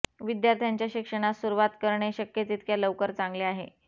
विद्यार्थ्याच्या शिक्षणास सुरुवात करणे शक्य तितक्या लवकर चांगले आहे